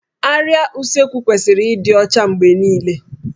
Árịá Usekwu kwesịrị ịdị ọcha mgbe niile